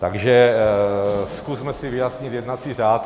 Takže zkusme si vyjasnit jednací řád.